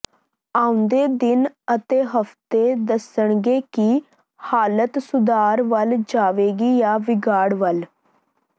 ਆਉਂਦੇ ਦਿਨ ਅਤੇ ਹਫ਼ਤੇ ਦੱਸਣਗੇ ਕਿ ਹਾਲਤ ਸੁਧਾਰ ਵੱਲ ਜਾਵੇਗੀ ਜਾਂ ਵਿਗਾੜ ਵੱਲ